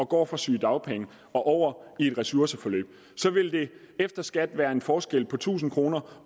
går fra sygedagpenge og over i et ressourceforløb så vil der efter skat være en forskel på tusind kroner